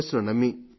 yes ను నమ్మి